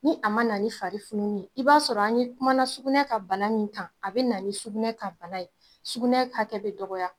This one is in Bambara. Ni a mana ni fari fununni ye, i b'a sɔrɔ an ye kumala sugunɛ ka bana min kan, a bɛna ni sugunɛ ka bana ye, sugunɛ hakɛ bi dɔgɔya